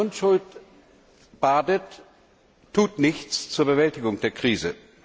Wer sich in Unschuld badet, tut nichts zur Bewältigung der Krise!